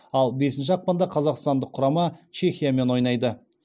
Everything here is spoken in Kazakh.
ал бесінші ақпанда қазақстандық құрама чехиямен ойнайды